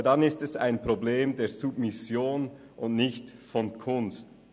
aber in diesem Fall liegt das Problem bei der Submission und nicht bei der Kunst.